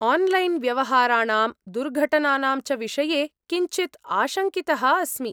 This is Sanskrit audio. आन्लैन् व्यवहाराणां दुर्घटनानां च विषये किञ्चित् आशङ्कितः अस्मि।